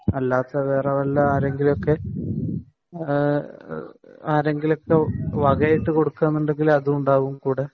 അല്ലാത്ത വേറെ വല്ല ആരെങ്കിലുമൊക്കെ വകയായിട്ടു കൊടുക്കുകയാണെങ്കിൽ അതും ഉണ്ടാവും കൂടെ